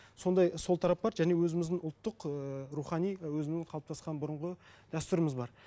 сондай сол тарап бар және өзіміздің ұлттық ыыы рухани і өзінің қалыптасқан бұрынғы дәстүріміз бар